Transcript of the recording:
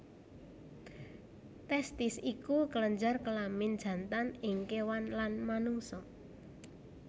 Testis iku kelenjar kelamin jantan ing kéwan lan manungsa